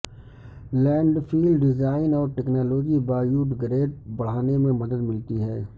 landfill design اور technology biodegrade بڑھانے میں مدد ملتی ہے